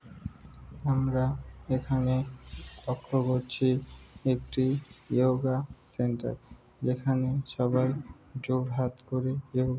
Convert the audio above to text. আমরা এখানে লক্ষ্য করছি একটি ইয়োগা সেন্টার যেখানে সবাই জোড় হাত করে এবং --